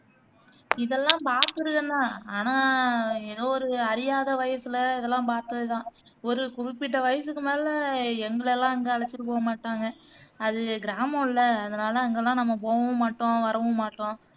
இதெல்லாம் பாத்திருக்கேந்தான் ஆனா ஏதோ ஒரு அறியாத வயசுல இதெல்லாம் பாத்ததுதான் ஒரு குறிப்பிட்ட வயசுக்கு மேல எங்களயெல்லாம் அங்க அழைச்சுட்டுபோக மாட்டாங்க அது கிராமம்ல அதனால நாங்க அங்கேயெல்லாம் நாம போகவும் மாட்டோம் வரவும் மாட்டோம்